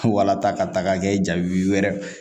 Wala ta ka ta k'a kɛ jagu yɛrɛ